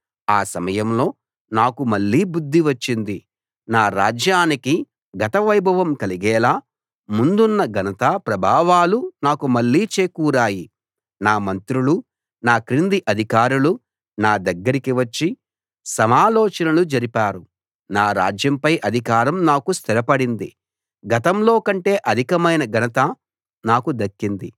ఆ సమయంలో నాకు మళ్ళీ బుద్ది వచ్చింది నా రాజ్యానికి గత వైభవం కలిగేలా ముందున్న ఘనత ప్రభావాలు నాకు మళ్ళీ చేకూరాయి నా మంత్రులు నా క్రింది అధికారులు నా దగ్గరికి వచ్చి సమాలోచనలు జరిపారు నా రాజ్యంపై అధికారం నాకు స్థిరపడింది గతంలో కంటే అధికమైన ఘనత నాకు దక్కింది